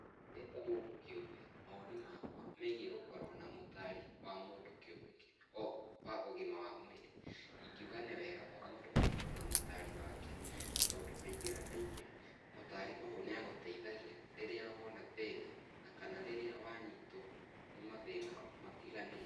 Ndĩ ta mũndũ kĩũmbe, mawoni makwa megiĩ gũkorwo na mũtaari wa mũndũ kĩũmbe, wa ũgima wa mwĩrĩ, ingiũga nĩ wega o mũndũ akorwo na mũtaari wake tondũ kaingĩ na kaingĩ mũtaari ũyũ nĩagũteithagia rĩrĩa wona thĩna na kana rĩrĩa wanyitwo nĩ mathĩna matiganĩte.